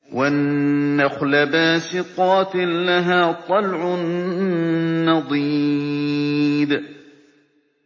وَالنَّخْلَ بَاسِقَاتٍ لَّهَا طَلْعٌ نَّضِيدٌ